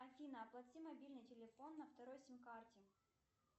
афина оплати мобильный телефон на второй сим карте